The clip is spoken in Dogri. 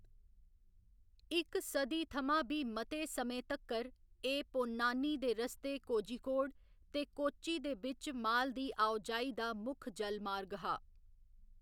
इक सदी थमां बी मते समें तक्कर, एह्‌‌ पोन्नानी दे रस्ते कोझिकोड ते कोच्चि दे बिच्च माल दी आओ जाई दा मुक्ख जलमार्ग हा।